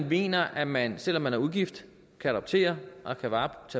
mener at man selv om man er ugift kan adoptere og tage vare